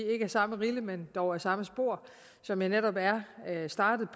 samme rille men dog ad samme spor som jeg netop er startet